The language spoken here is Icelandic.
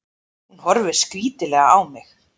Hún horfir skrítilega á mig.